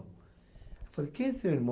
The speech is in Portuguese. Eu falei, quem é seu irmão?